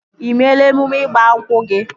Ị meela emume ịgba nkwụ gị?